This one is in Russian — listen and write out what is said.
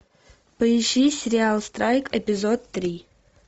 поищи сериал страйк эпизод три